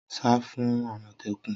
Sá fún àmọ̀tẹ́kùn!